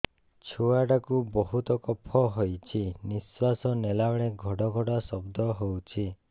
ଛୁଆ ଟା କୁ ବହୁତ କଫ ହୋଇଛି ନିଶ୍ୱାସ ନେଲା ବେଳେ ଘଡ ଘଡ ଶବ୍ଦ ହଉଛି